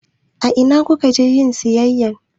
A ina ku ka je yin sayayya?